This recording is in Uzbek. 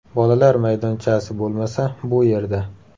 Bolalar maydonchasi bo‘lmasa bu yerda.